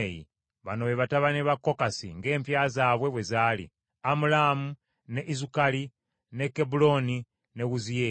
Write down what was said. Bano be batabani ba Kokasi ng’empya zaabwe bwe zaali: Amulaamu, ne Izukali ne Kebbulooni, ne Wuziyeeri.